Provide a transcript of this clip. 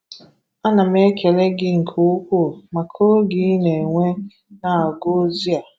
Ana m ekele gị nke ukwuu maka oge i na-ewe na-agụ ozi a.